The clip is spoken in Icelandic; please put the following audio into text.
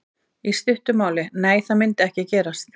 Í stuttu máli: Nei það myndi ekki gerast.